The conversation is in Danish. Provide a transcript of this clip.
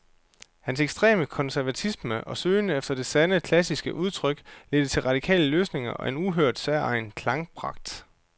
Hans ekstreme konservatisme og søgen efter det sande, klassiske udtryk ledte til radikale løsninger og en uhørt, særegen klangpragt.